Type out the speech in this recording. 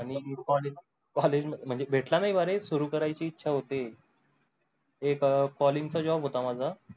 आन्ही college मंझे भेटला नाही ना रे सुरु करायची इच्छा होते एक college चा job होता माझा